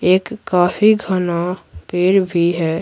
एक काफी घना पेड़ भी है।